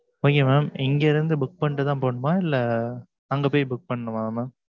Okay mam. இங்க இருந்து book பண்ணிட்டுதான் போகணுமா? இல்லை, அங்கே போய் book பண்ணணுமா mam